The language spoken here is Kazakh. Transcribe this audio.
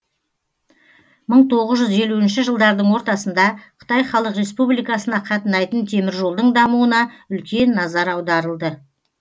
мың тоғыз жүз елуінші жылдардың ортасында қытай халық республикасына қатынайтын теміржолдың дамуына үлкен назар аударылды